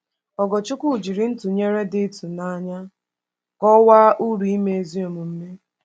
Ogorchukwu jiri ntụnyere dị ịtụnanya kọwaa uru ime ezi omume.